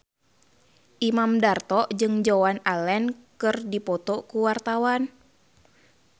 Imam Darto jeung Joan Allen keur dipoto ku wartawan